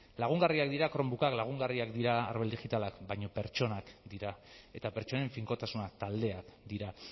lagungarriak dira chromebookak lagungarriak dira arbel digitalak baina pertsonak dira eta pertsonen finkotasuna taldeak dira